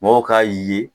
Mɔw k'a ye